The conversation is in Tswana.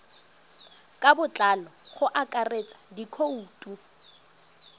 ka botlalo go akaretsa dikhoutu